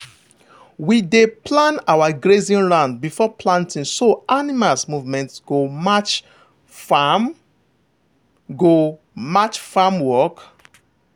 we dey plan our grazing round before planting so animals movement go match farm go match farm work.